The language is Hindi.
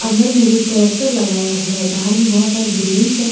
सामने में एक ट्रैक्टर लगाया हुआ है बाहर में बहुत सारा बिल्डिंग्स हैं।